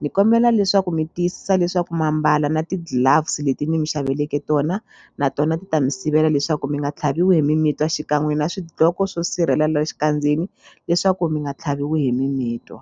ni kombela leswaku mi tiyisisa leswaku ma mbala na ti-gloves leti ni mi xaviseleke tona na tona ti ta mi sivela leswaku mi nga tlhaviwi hi mimitwa xikan'we na swidloko swo sirhelela xikandzeni leswaku mi nga tlhaviwi hi mimitwa.